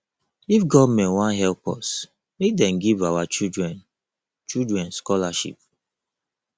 if government wan help us make dem give our children children scholarship